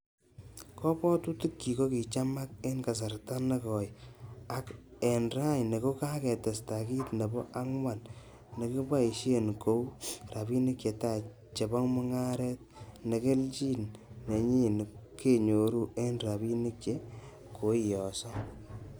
Kobwotutikyik ko kichamak en kasarta nekoi ak en raini ko kakitesta kit nebo angwan nekiboishie kou ,rabinik chetai chebo mungaret-Ne kelchin nenyin kenyoru en rabinik che koiyoso.